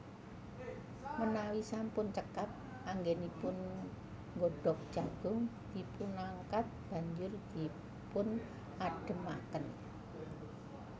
Menawi sampun cekap anggenipun nggodog jagung dipunangkat banjur dipunadhemaken